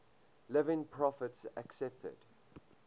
living prophets accepted